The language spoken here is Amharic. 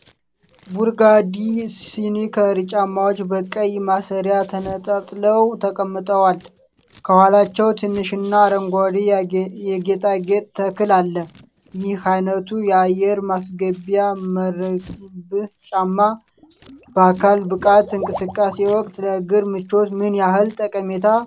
ቡርጋንዲ ስኒከር ጫማዎች በቀይ ማሰሪያ ተነጣጥለው ተቀምጠዋል። ከኋላቸው ትንሽ እና አረንጓዴ የጌጣጌጥ ተክል አለ። ይህ ዓይነቱ የአየር ማስገቢያ መረብ ጫማ በአካል ብቃት እንቅስቃሴ ወቅት ለእግር ምቾት ምን ያህል ጠቃሚ ነው?